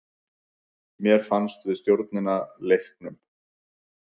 Mér fannst við stjórna leiknum.